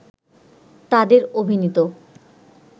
তাদের অভিনীত